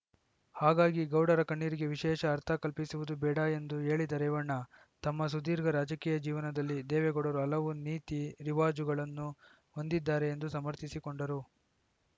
ಹಾಗಾಗಿ ಗೌಡರ ಕಣ್ಣಿರಿಗೆ ವಿಶೇಷ ಅರ್ಥ ಕಲ್ಪಿಸುವುದು ಬೇಡ ಎಂದು ಹೇಳಿದ ರೇವಣ್ಣ ತಮ್ಮ ಸುದೀರ್ಘ ರಾಜಕೀಯ ಜೀವನದಲ್ಲಿ ದೇವೇಗೌಡರು ಹಲವು ನೀತಿರಿವಾಜುಗಳನ್ನು ಹೊಂದಿದ್ದಾರೆ ಎಂದು ಸಮರ್ಥಿಸಿಕೊಂಡರು